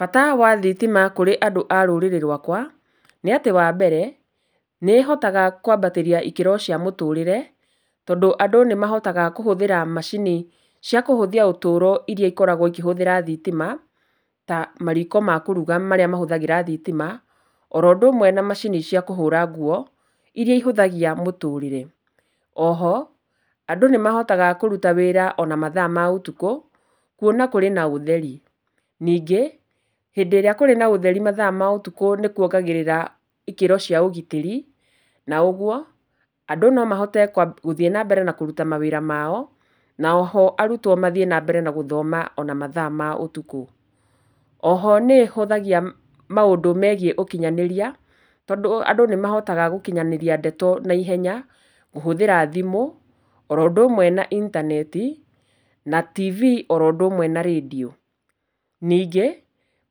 Bata wa thitima kũrĩ andũ a rũrĩrĩ rwakwa, nĩ atĩ wa mbere nĩ ĩhotaga kwambatĩria ikĩro cia mũtũrĩre tondũ andũ nĩ mahotaga kũhũthĩra macini cia kũhũthia ũtũũro iria ikoragwo ikĩhũthĩra thitima ta mariko ma kũruga marĩa mahũthagĩra thitima, oro ũndũ ũmwe na macini cia kũhũũra nguo iria ihũthagia mũtũrĩre. Oho, andũ nĩ mahotaga kũruta wĩra ona mathaa ma ũtukũ kwona kũrĩ na ũtheri. Ningĩ hĩndĩ ĩrĩa kũrĩ na ũtheri mathaa ma ũtukũ nĩ kwongagĩrĩra ikĩro cia ũgitĩri, na ũgwo andũ nomahote kwa, gũthiĩ nambere na kũruta mawĩra mao na oho arutwo mathiĩ nambere na gũthoma ona mathaa ma ũtukũ. Oho nĩ ĩhũthagia maũndũ megiĩ ũkinyanĩria tondũ andũ nĩ mahotaga gũkinyanĩria ndeto naihenya kũhũthĩra thimũ oro ũndũ ũmwe na intaneti, na tv oro ũndũ ũmwe na rendio. Ningĩ